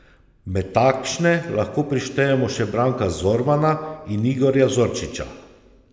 Med takšne lahko prištejemo še Branka Zormana in Igorja Zorčiča.